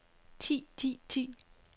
ti ti ti